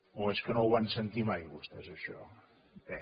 o és que no ho van sentir mai vostès això bé